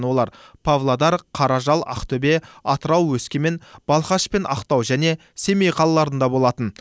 олар павлодар қаражал ақтөбе атырау өскемен балқаш пен ақтау және семей қалаларында болатын